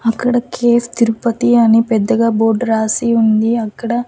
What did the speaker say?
అక్కడ కేఫ్ తిరుపతి అని పెద్దగా బోర్డ్ రాసి ఉంది అక్కడ--